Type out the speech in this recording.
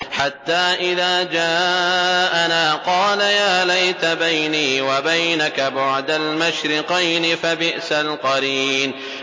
حَتَّىٰ إِذَا جَاءَنَا قَالَ يَا لَيْتَ بَيْنِي وَبَيْنَكَ بُعْدَ الْمَشْرِقَيْنِ فَبِئْسَ الْقَرِينُ